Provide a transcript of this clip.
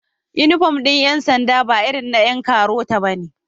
Inufom din Yan sanda ba irin na Yan karota bane